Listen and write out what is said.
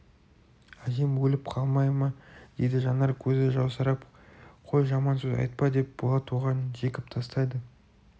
әжем өліп қалмай ма дейді жанар көзі жасаурап қой жаман сөз айтпа деп болат оған жекіп тастайды